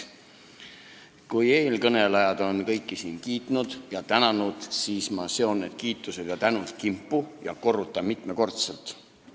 Kui eelkõnelejad on siin kõiki esinejaid kiitnud ja tänanud, siis ma seon need kiitused ja tänud kimpu ning korrutan mitmekordselt.